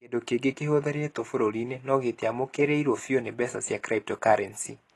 Kĩndũ kĩngĩ kĩhũthĩrĩtwo bũrũri-inĩ, no gĩtiamũkĩrirũo biũ nĩ mbeca cia cryptocurrency.